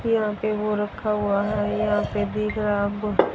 यहां पे वो रखा हुआ है यहां पे भी